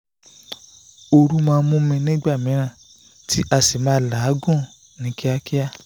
oru ma n mu mi ni igba miran ti ma a si ma lagun ni kiakia